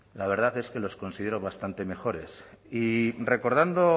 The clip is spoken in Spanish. la verdad es que los considero bastante mejores y recordando